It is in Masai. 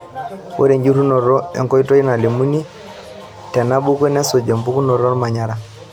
Ore enjurunoto onkoitoi nalimuni tenabuku nesuj empukunoto olmanyara.